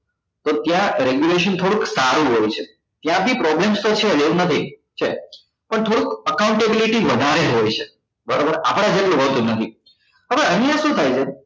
તો ત્યાં regulation થોડુક સારું હોય છે ત્યાં બી problems તો છે જ એવું નથી છે જ પણ થોડું accountability વધારે હોય છે બરોબર આપડા જેટલું હોતું નથી હવે અહિયાં શું થાય છે